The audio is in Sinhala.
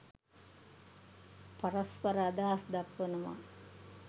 පරස්පර අදහස් දක්වනවා.